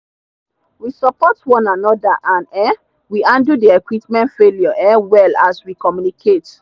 we support one another and um we handle the equipment failure um well as we communicate.